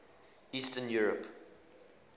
eastern europe